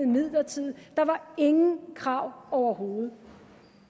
midlertidigt der var ingen krav overhovedet